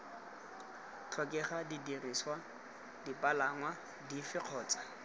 tlhokega didirisiwa dipalangwa dife kgotsa